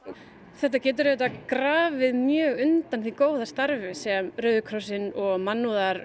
þetta getur auðvitað grafið mjög undan því góða starfi sem Rauði krossinn mannúðar